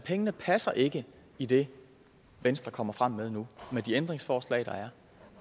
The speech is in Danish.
pengene passer ikke i det venstre kommer frem med nu med de ændringsforslag der er